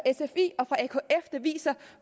viser